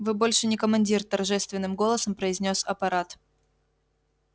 вы больше не командир торжественным голосом произнёс аппарат